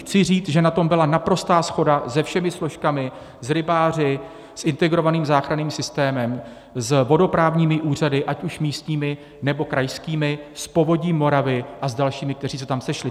Chci říct, že na tom byla naprostá shoda se všemi složkami, s rybáři, s integrovaným záchranným systémem, s vodoprávními úřady ať už místními, nebo krajskými, s Povodím Moravy a s dalšími, kteří se tam sešli.